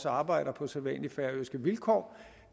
arbejder på sædvanlige færøske vilkår